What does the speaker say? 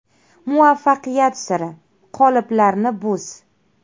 Muvaffaqiyat siri: Qoliplarni buz!